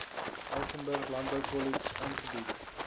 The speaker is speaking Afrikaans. elsenburg landboukollege aangebied